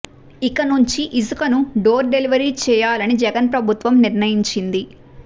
ఇక నుంచి ఇసుకను డోర్ డెలివరీ చేయాలని జగన్ ప్రభుత్వం నిర్ణయించింది